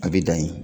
A bɛ dan yen